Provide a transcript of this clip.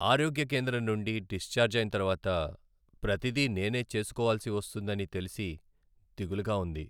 ఆరోగ్య కేంద్రం నుండి డిశ్చార్జ్ అయిన తర్వాత ప్రతిదీ నేనే చేసుకోవాల్సి వస్తుందని తెలిసి దిగులుగా ఉంది.